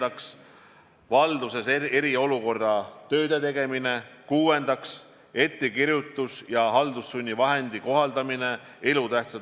Aga ainuüksi Lõuna-Koreas tehakse umbes 10 000 testi iga päev ja seal ei ole mingit paanikat, sest kõik teavad, kes on nakatunud, kes mitte.